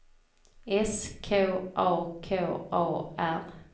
S K A K A R